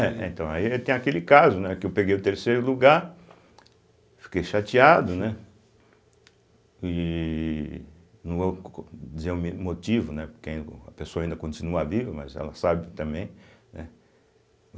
é então aí tem aquele caso, né, que eu peguei o terceiro lugar, fiquei chateado, né e no co co dizer o me motivo, né, porque a pessoa ainda continua viva, mas ela sabe também, né.